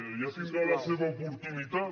ja tindrà la seva oportunitat